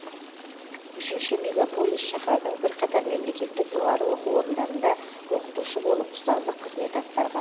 үшінші мегаполис шаһардың бірқатар мемлекеттік жоғары оқу орындарында оқытушы болып ұстаздық қызмет атқарған